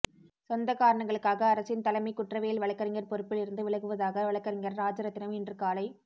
சொந்த காரணங்களுக்காகஅரசின் தலைமை குற்றவியல் வழக்கறிஞர் பொறுப்பில் இருந்து விலகுவதாக வழக்கறிஞர் ராஜரத்தினம் இன்று காலை